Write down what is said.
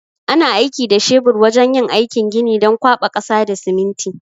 Ana aiki da shebur wajan yin aikin gini don kwaɓa ƙasa da siminti